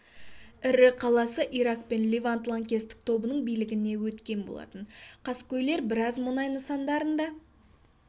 ірі қаласы ирак пен левант лаңкестік тобының билігіне өткен болатын қаскөйлер біраз мұнай нысандарын да